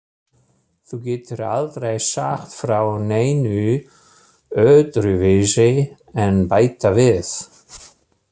Þú getur aldrei sagt frá neinu öðruvísi en bæta við.